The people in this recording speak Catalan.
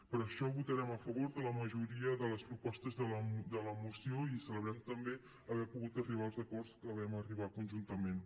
per això votarem a favor de la majoria de les propostes de la moció i celebrem també haver pogut arribar als acords a què vam arribar conjuntament